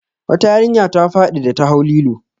Wata yarinya ta faɗi da ta hau lilo.